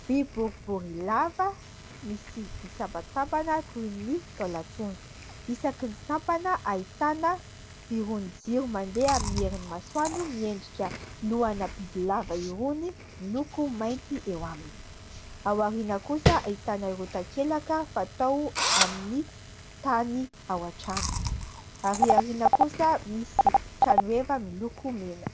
Vy boribory lava misy nisampasampana toy ny taolan-trondro isaky ny sampana ahitana irony jiro mandeha amin'ny herin'ny masoandro miendrika lohana bibilava irony miloko mainty eo aminy, ao aoriana kosa ahitana irony takelaka fatao amin'ny tany ao an-trano ary aoriana kosa misy tranoeva miloko mena.